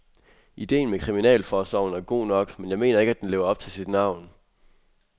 Ideen med kriminalforsorgen er god nok, men jeg mener ikke, at den lever op til sit navn.